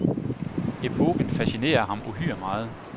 Epoken fascinerer ham uhyre meget.